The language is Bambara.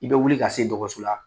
I be wuli ka se dɔgɔso la